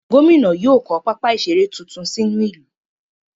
Gómìnà yóò kọ́ pápá ìseré tuntun sí inú ìlú.